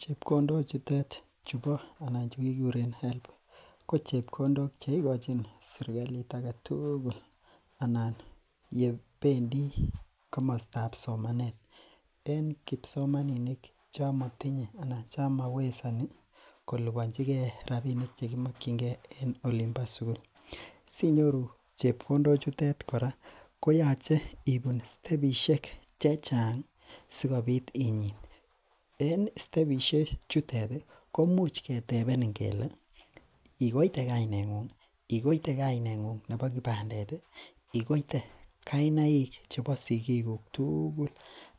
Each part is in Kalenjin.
Chebkondok chotet anan che kikuren higher education loans board ko chebkondok cheigochin serkalit agetugul anan yebendi kamostab somanet. En kipsomaninik chon matinye anan chemaiwezani kolubanchike rabinik chekimakkyinge en olimbo sugul. Sinyoru chebkondok chut kora ko yoon, koyache ibun stebishek chechang sikobit inyit en stebishek chutet ih koimuch ketebenin kele igoite kaineng'ung, igoite kainetab sigindet ih,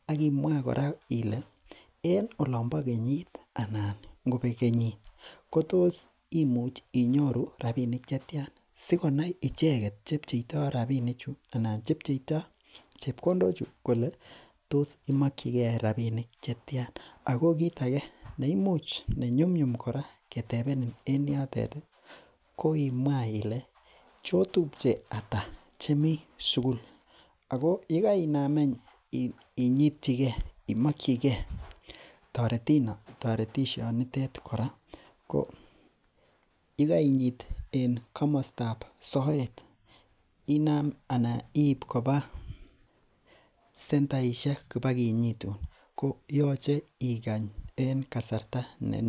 akimwa kora Ile en olonba kenyit anan kotos inyoru rabinik chetian sikonai icheket chebcheito rabinik chebkondok chu kole imakyinke rabinik chetian. Ako kit age neimuch ketebenin en yoton ih ko imwaa Ile cheotupche ata chemi sugul ako yegainaam inyitchige imakyinke toretet ko yegainyit en kamostab soet inam anan iib koba sentaishek kibakinyitun ago yache ikany en kasarta netian.